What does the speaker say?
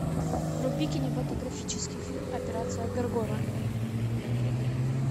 вруби кинематографический фильм операция горгона